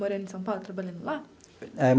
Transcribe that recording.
Morando em São Paulo, trabalhando lá?